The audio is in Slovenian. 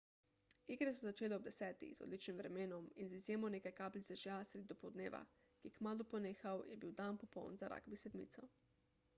igre so se začele ob 10.00 z odličnim vremenom in z izjemo nekaj kapljic dežja sredi dopoldneva ki je kmalu ponehal je bil dan popoln za ragbi sedmico